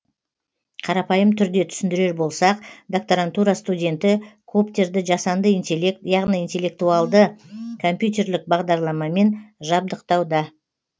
қарапайым түрде түсіндірер болсақ докторантура студенті коптерді жасанды интеллект яғни интеллектуалды компьютерлік бағдарламамен жабдықтауда